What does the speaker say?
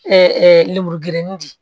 lemuru gɛnen de